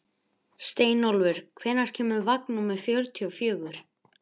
Steinólfur, hvenær kemur vagn númer fjörutíu og fjögur?